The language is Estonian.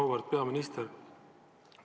Auväärt peaminister!